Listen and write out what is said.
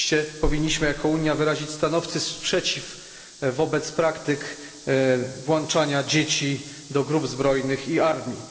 Oczywiście powinniśmy jako Unia wyrazić stanowczy sprzeciw wobec praktyk włączania dzieci do grup zbrojnych i armii.